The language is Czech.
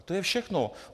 A to je všechno.